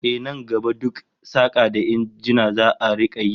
Ehh, nan gaba duk saka da injina za'a rika yi